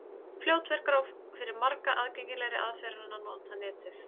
Fljótvirkari og fyrir marga aðgengilegri aðferð er að nota Netið.